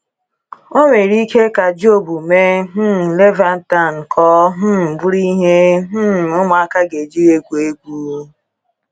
O nwere ike ka Job mee um Leviathan ka ọ um bụrụ ihe um ụmụaka ga-eji egwu egwu?